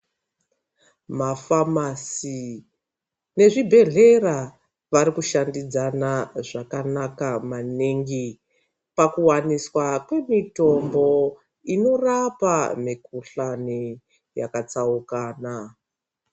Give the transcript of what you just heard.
Mafamasi ,nezvibhedhlera vari kushandidzana zvakanaka maningi, pakuwaniswa kwemitombo inorapa mikhuhlani yakatsaukana .